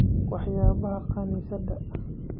Waxyaabaha kaniisadda